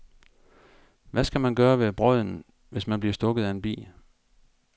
Hvad skal man gøre ved brodden, hvis man bliver stukket af en bi?